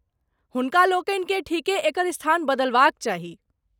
हुनकालोकनिकेँ ठीके एकर स्थान बदलबाक चाही।